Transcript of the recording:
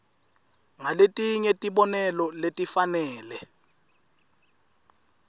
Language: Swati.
ngaletinye tibonelo letifanele